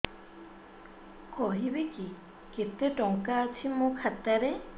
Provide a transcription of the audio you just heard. କହିବେକି କେତେ ଟଙ୍କା ଅଛି ମୋ ଖାତା ରେ